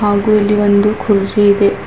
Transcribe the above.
ಹಾಗೂ ಇಲ್ಲಿ ಒಂದು ಕುರ್ಚಿ ಇದೆ.